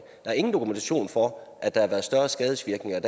er ingen dokumentation for at der har været større skadesvirkninger